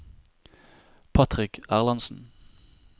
Patrick Erlandsen